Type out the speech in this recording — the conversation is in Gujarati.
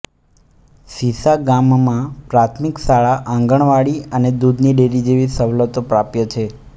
શીશા ગામમાં પ્રાથમિક શાળા આંગણવાડી અને દૂધની ડેરી જેવી સવલતો પ્રાપ્ય છે